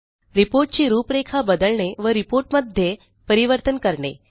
report ची रूपरेखा बदलणे व Reportमध्ये परिवर्तन करणे